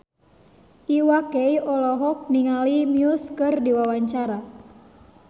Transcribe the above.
Iwa K olohok ningali Muse keur diwawancara